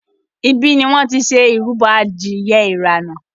ibí ní wón tí ṣe ìrúbo adìye irana.